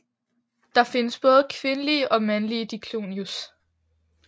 Der findes både kvindelige og mandlige Diclonius